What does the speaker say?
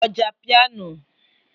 ọjà pịano